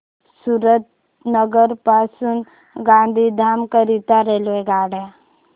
सुरेंद्रनगर पासून गांधीधाम करीता रेल्वेगाड्या